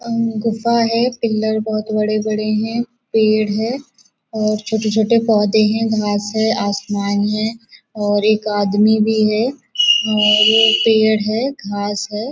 अम गुफा है पिल्लर बहुत बड़े बड़े हैं पेड़ है और छोटे छोटे पोधे हैं घास है आसमान है और एक आदमी भी है और पेड़ है घास है।